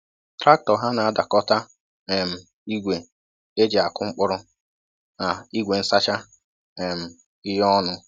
Traktọ ha na-adọkọta um igwe e ji akụ mkpụrụ na igwe nsacha um ihe ọnụ.